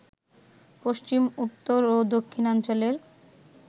পশ্চিম, উত্তর ও দক্ষিণাঞ্চলের